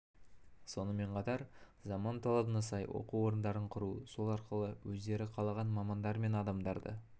сонымен қатар заман талабына сай оқу орындарын құру сол арқылы өздері қалаған мамандар мен адамдарды